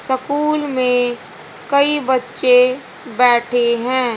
School में कई बच्चे बैठे है।